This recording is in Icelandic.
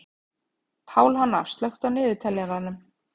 Pálhanna, slökktu á niðurteljaranum.